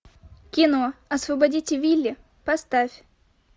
кино освободите вилли поставь